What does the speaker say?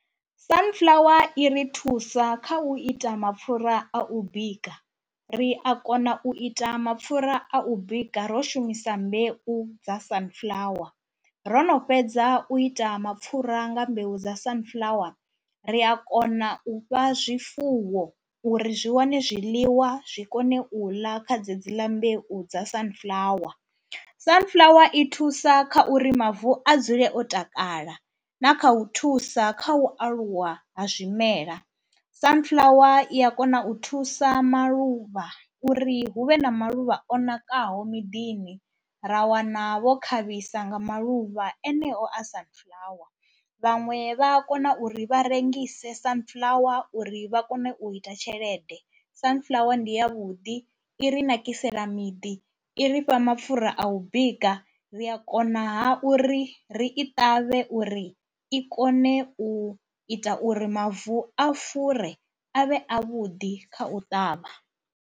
Sunflower i ri thusa kha u ita mapfhura a u bika, ri a kona u ita mapfhura a u bika ro shumisa mbeu dza Sunflower. Ro no fhedza u ita mapfhura nga mbeu dza Sunflower ri a kona u fha zwifuwo uri zwi wane zwiḽiwa zwi kone u ḽa kha dzedzi ḽa mbeu dza Sunflower. Sunflower i thusa kha uri mavu a dzule o takala na kha u thusa kha u aluwa ha zwimela, Sunflower i ya kona u thusa maluvha uri hu vhe na maluvha o nakaho miḓini, ra wana vho khavhisa nga maluvha eneo a Sunflower. Vhaṅwe vha a kona uri vha rengise Sunflower uri vha kone u ita tshelede, Sunflower ndi yavhuḓi, i ri nakisela miḓi, i ri fha mapfhura a u bika, ri a konaha uri ri i ṱavhe uri i kone u ita uri mavu a fure a vhe avhuḓi kha u ṱavha.